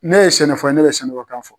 Ne ye sɛnɛfɔ ye ne bɛ sɛnɛfɔkan fɔ.